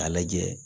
K'a lajɛ